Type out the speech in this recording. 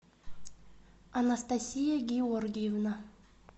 анастасия георгиевна